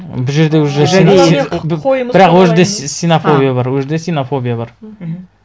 бұл жерде уже бірақ ол жерде ксенофобия бар ол жерде ксенофобия бар мхм